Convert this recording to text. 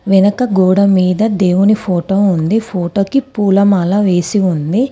వెనక గోడ మీద దేవుని ఫోటో ఉంది. ఫోటోకి పూలమాల వేసి ఉంది.